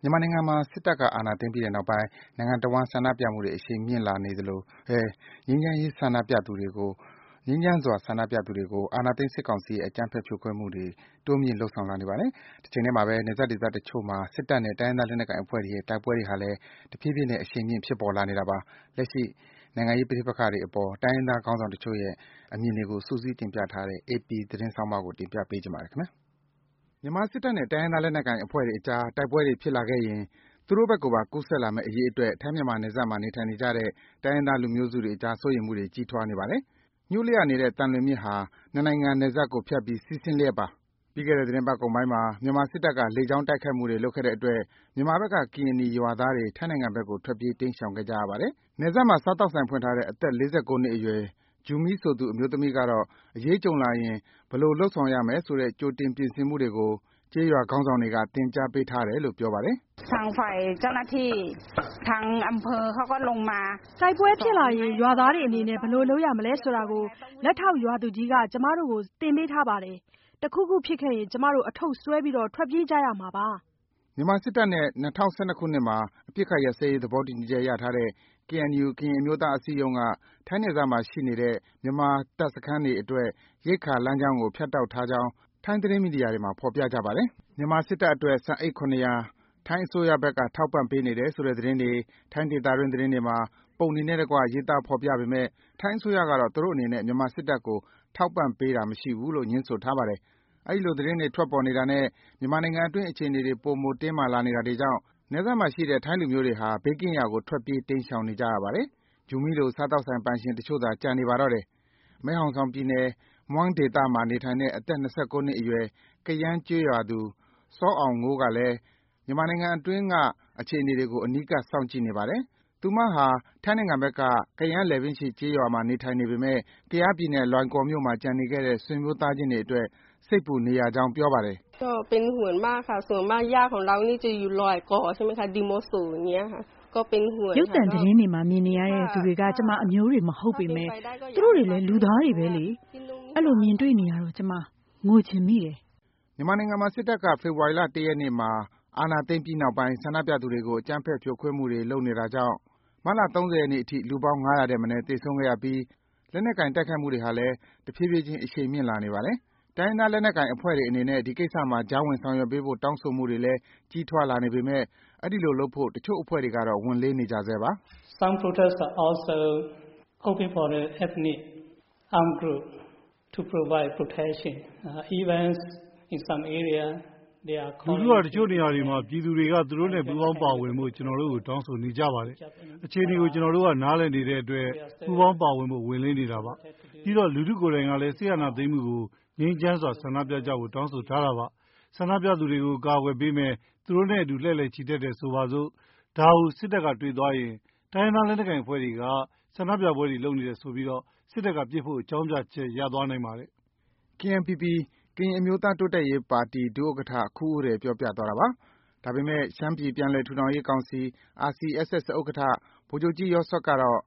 မြန်မာနိုင်ငံမှာ စစ်တပ်က အာဏာသိမ်းပြီးတဲ့နောက်ပိုင်း နိုင်ငံတဝန်း ဆန္ဒပြမှုတွေ အရှိန်မြင့်ဖြစ်နေသလိုပဲ ငြိမ်းချမ်းစွာ ဆန္ဒပြသူတွေကို အာဏာသိမ်းစစ်ကောင်စီရဲ့ အကြမ်းဖက် ဖြိုခွဲမှုတွေကို တိုးမြင့် လုပ်ဆောင်လာနေပါတယ်။ တချိန်တည်းမှာပဲ နယ်စပ်ဒေသတချို့မှာ စစ်တပ်နဲ့ တိုင်းရင်းသားလက်နက်ကိုင်အဖွဲ့တွေရဲ့ တိုက်ပွဲတွေဟာလည်း တဖြည်းဖြည်း အရှိန်မြင့် ဖြစ်ပေါ်လာနေတာပါ။ လက်ရှိ နိုင်ငံရေး ပဋိပက္ခအပေါ် တိုင်းရင်းသားလက်ကိုင်ခေါင်းဆောင်တချို့ရဲ့ အမြင်တွေကို စုစည်းတင်ပြထားတဲ့ အေပီဆောင်းပါးကိုတော့ ကိုဇော်ဝင်းလှိုင်က တင်ပြပေးထားပါတယ်။ မြန်မာစစ်တပ်နဲ့ တိုင်းရင်းသားလက်နက်ကိုင် တပ်ဖွဲ့တွေအကြား တိုက်ပွဲတွေဖြစ်လာခဲ့ရင် သူတို့ဘက်ကိုပါ ကူးစက်လာမယ့်အရေးအတွက် ထိုင်း-မြန်မာနယ်စပ်မှာ နေထိုင်နေကြတဲ့ တိုင်းရင်းသား လူမျိုးစုတွေအကြား စိုးရိမ်မှုတွေ ကြီးထွားနေပါတယ်။ ညိုးလျှနေတဲ့ သံလွင်မြစ်ဟာ နှစ်နိုင်ငံ နယ်စပ်ကိုဖြတ်ပြီး စီးဆင်းနေလျှက်ပါ။ လွန်ခဲ့တဲ့ သီတင်းပတ်ကုန်ပိုင်းမှာ မြန်မာစစ်တပ်က လေကြောင်းတိုက်ခိုက်မှုတွေ လုပ်ခဲ့တဲ့အတွက် မြန်မာဘက်က ကရင်နီရွာသားတွေ ထိုင်းနိုင်ငံဘက်ကို ထွက်ပြေးတိမ်းရှောင်ခဲ့ကြရပါတယ်။ နယ်စပ်မှာ စားသောက်ဆိုင်ဖွင့်ထားတဲ့ အသက် ၄၉ နှစ်အရွယ် Jumi ဆိုသူ အမျိုးသမီးကတော့ အရေးကြုံလာရင် ဘယ်လို့ လုပ်ဆောင်ရမယ်ဆိုတဲ့ ကြိုတင် ပြင်ဆင်မှုတွေကို ကျေးရွာခေါင်းဆောင်တွေက သင်ကြားပေးထားတယ်လို့ ပြောပါတယ်။ “တိုက်ပွဲတွေဖြစ်လာရင် ရွာသားတွေအနေနဲ့ ဘယ်လိုလုပ်ရမယ်ဆိုတာကို လက်ထောက် ရွာသူကြီးက ကျမတို့ကို သင်ထားပေးပါတယ်။ တခုခုဖြစ်ခဲ့ရင် ကျမတို့ အထုပ်ဆွဲပြီး ထွက်ပြေးကြရမှာပါ။” မြန်မာစစ်တပ်နဲ့ ၂၀၁၂ ခုနှစ်မှာ အပစ်အခတ်ရပ်စဲရေး သဘောတူညီချက်ရထားတဲ့ KNU ကရင်အမျိုးသားအစည်းအရုံးက ထိုင်းနယ်စပ်မှာ ရှိနေတဲ့ မြန်မာတပ်စခန်းတွေအတွက် ရိက္ခာလမ်းကြောင်းကို ဖြတ်တောက်ထားကြောင်း ထိုင်းသတင်းမီဒီယာတွေမှာ ဖော်ပြကြပါတယ်။ မြန်မာစစ်တပ်အတွက် ဆန်အိတ် ၇၀၀ ထိုင်းအစိုးရဘက်က ထောက်ပံ့ပေးနေတယ်ဆိုတဲ့သတင်းတွေ ထိုင်းဒေသတွင်း သတင်းတွေမှာ ပုံတွေနဲ့တကွ ရေးသားဖော်ပြပေမယ့် ထိုင်းအစိုးရကတော့ သူတို့အနေနဲ့ မြန်မာစစ်တပ်ကို ထောက်ပံ့ပေးတာမရှိဘူးလို့ ငြင်းဆိုထားပါတယ်။ အဲဒီလို သတင်းတွေ ထွက်ပေါ်နေတာနဲ့ မြန်မာနိုင်ငံအတွင်း အခြေအနေတွေ ပိုမို တင်းမာလာနေတာတွေကြောင့် နယ်စပ်မှာရှိတဲ့ ထိုင်းလူမျိုးတွေဟာ ဘေးကင်းရာကို ထွက်ပြေး တိမ်းရှောင်နေကြပါတယ်။ Jumi လို စားသောက်ဆိုင်ပိုင် တချို့သာ ကျန်နေပါတော့တယ်။ မဲဟောင်ဆောင်ပြည်နယ်၊ Mueng ဒေသမှာ နေထိုင်တဲ့ အသက် ၂၉ နှစ်အရွယ် ကယန်းကျေးရွာသူ Saw Ao Ngo လည်း မြန်မာနိုင်ငံအတွင်းက အခြေအနေတွေကို အနီးကပ် စောင့်ကြည့်နေပါတယ်။ သူမဟာ ထိုင်းနိုင်ငံဘက်က ကယန်းလည်ပင်းရှည်ကျေးရွာမှာ နေထိုင်ပေမယ့် ကယားပြည်နယ်၊ လွိုင်ကော်မြို့မှာ ကျန်နေတဲ့ခဲ့တဲ့ ဆွေမျိုးသားချင်းတွေအတွက် စိတ်ပူနေရကြောင်း ပြောပါတယ်။ “ရုပ်သံသတင်းတွေမှာ မြင်တွေ့နေရတဲ့သူတွေက ကျမအမျိုးတွေ မဟုတ်ပေမဲ့ သူတို့တွေလည်း လူသားတွေပဲလေ။ အဲဒီလိုတွေ မြင်တွေ့နေရတော့ ကျမ ငိုချင်မိတယ်။” မြန်မာနိုင်ငံမှာ စစ်တပ်က ဖေဖော်ဝါရီလ ၁ ရက်နေ့မှာ အာဏာသိမ်းပြီးနောက်ပိုင်း ဆန္ဒပြသူတွေကို အကြမ်းဖက် ဖြိုခွင်းမှုတွေ လုပ်နေတာကြောင့် မတ်လ ၃၀ ရက်နေ့အထိ လူပေါင်း ၅၀၀ ထက်မနည်း သေဆုံးခဲ့ရပြီး လက်နက်ကိုင် တိုက်ခိုက်မှုတွေဟာလည်း တဖြည်းဖြည်းချင်း အရှိန်မြင့်လာနေပါတယ်။ တိုင်းရင်းသားလက်နက်ကိုင်အဖွဲ့တွေအနေနဲ့ ဒီကိစ္စမှာ ကြားဝင်ဆောင်ရွက်ပေးဖို့ တောင်းဆိုမှုတွေလည်း ကြီးထွားလာနေပေမဲ့ အဲဒီလိုလုပ်ဖို့ တချို့အဖွဲ့တွေကတော့ ဝန်လေးနေကြဆဲပါ။ “လူထုက တချို့နေရာတွေမှာ ပြည်သူတွေက သူတို့နဲ့ ပူးပေါင်းပါဝင်ဖို့ ကျနော်တို့ကို တောင်းဆိုနေကြပါတယ်၊ အခြေအနေတွေကို ကျနော်တို့က နားလည်နေတဲ့အတွက် ပူးပေါင်းပါဝင်ဖို့ ဝန်လေးနေတာပါ။ ပြီးတော့ လူထုကိုယ်တိုင်ကလည်း စစ်အာဏာသိမ်းမှုကို ငြိမ်းချမ်းစွာ ဆန္ဒပြကြဖို့ တောင်းဆိုထားတာပါ။ ဆန္ဒပြသူတွေကို အကာကွယ်ပေးမယ်၊ သူတို့နဲ့အတူ လှည့်လည် ချီတက်တယ်ဆိုကြပါစို့၊ ဒါကို စစ်တပ်ကတွေ့သွားရင် တိုင်းရင်းသားလက်နက်ကိုင်အဖွဲ့တွေက ဆန္ဒပြပွဲတွေ လုပ်နေတယ်ဆိုပြီး စစ်တပ်က ပစ်ဖို့ အကြောင်းပြချက် ရသွားနိုင်ပါတယ်။” KNPP ကရင်နီအမျိုးသားတိုးတက်ရေးပါတီ ဒု ဥက္ကဋ္ဌ ခူးဦးရယ် ပြောပြသွားတာပါ။ ဒါပေမဲ့ ရှမ်းပြည်ပြန်လည်ထူထောင်ရေးကောင်စီ RCSS ဥက္ကဋ္ဌ ဗိုလ်ချုပ်ကြီး Yawd Serk ကတော့